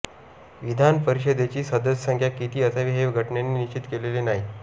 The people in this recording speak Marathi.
विधान परिषदेची सदस्य संख्या किती असावी हे घटनेने निश्चित केलेले नाही